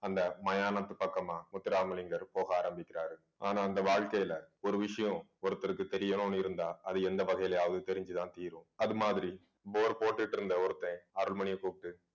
அந்த மயானத்து பக்கமா முத்துராமலிங்கர் போக ஆரம்பிக்கிறாரு ஆனா அந்த வாழ்க்கையில ஒரு விஷயம் ஒருத்தருக்கு தெரியணும்னு இருந்தா அது எந்த வகையிலயாவது தெரிஞ்சுதான் தீரும் அது மாதிரி bore போட்டுட்டு இருந்த ஒருத்தன் அருள்மணியை கூப்பிட்டு